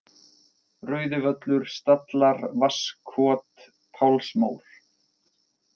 Rauðivöllur, Stallar, Vatnskot, Pálsmór